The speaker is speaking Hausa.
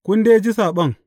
Kun dai ji saɓon.